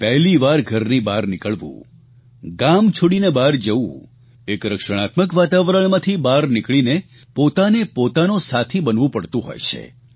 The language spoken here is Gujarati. પહેલીવાર ઘરથી બહાર નીકળવું ગામ છોડીને બહાર જવું એક રક્ષણાત્મક વાતાવરણમાંથી બહાર નીકળીને પોતાને પોતાનો સાથી બનવું પડતું હોય છે